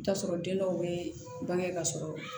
T'a sɔrɔ den dɔw bɛ bange ka sɔrɔ